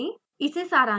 इसे सारांशित करते हैं